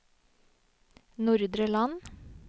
Nordre Land